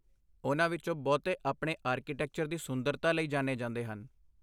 ਉਨ੍ਹਾਂ ਵਿਚੋਂ ਬਹੁਤੇ ਆਪਣੇ ਆਰਕੀਟੈਕਚਰ ਦੀ ਸੁੰਦਰਤਾ ਲਈ ਜਾਣੇ ਜਾਂਦੇ ਹਨ।